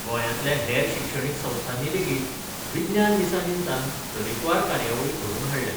गोंयांतल्या हेर शिक्षणीक संस्थांनी लेगीत विज्ञान दिसा निमतान तरेकवार कार्यावळी घडोवन हाडल्यात.